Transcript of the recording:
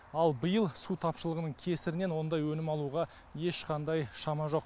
ал биыл су тапшылығының кесірінен ондай өнім алуға ешқандай шама жоқ